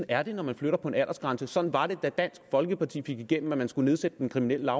er det når man flytter på en aldersgrænse og sådan var det da dansk folkeparti fik igennem at man skulle nedsætte den kriminelle